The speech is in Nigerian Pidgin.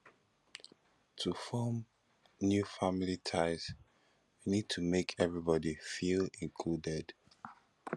to form new family ties we need to make everybody feel included